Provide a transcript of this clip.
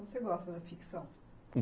Você gosta da ficção?